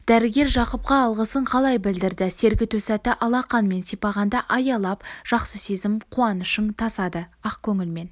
дәрігер жақыпқа алғысын қалай білдірді сергіту сәті алақанмен сипағанда аялап жақсы сезім қуанышың тасады ақ көңілмен